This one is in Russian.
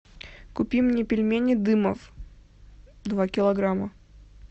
купи мне пельмени дымов два килограмма